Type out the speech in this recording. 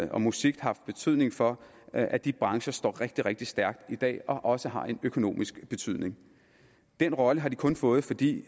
og musik haft betydning for at de brancher står rigtig rigtig stærkt i dag og også har en økonomiske betydning den rolle har de kun fået fordi